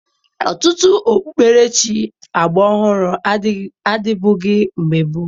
Ọtụtụ okpukperechi agbaọhụrụ adịbụghi mgbe gboo